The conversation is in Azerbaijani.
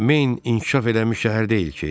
Main inkişaf eləmiş şəhər deyil ki?